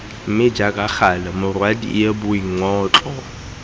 mme jaaka gale morwadie boingotlo